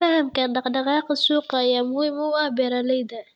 Fahamka dhaqdhaqaaqa suuqa ayaa muhiim u ah beeralayda.